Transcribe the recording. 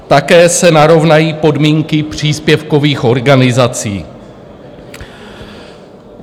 Také se narovnají podmínky příspěvkových organizací.